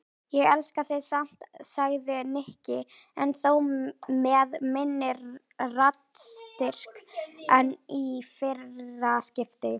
Ég elska þig samt sagði Nikki en þó með minni raddstyrk en í fyrra skiptið.